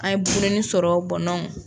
An ye bugulenni sɔrɔ bɔn dɔnku